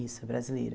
Isso, é brasileira.